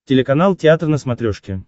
телеканал театр на смотрешке